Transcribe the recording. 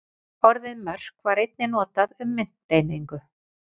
Orðið mörk var einnig notað um mynteiningu.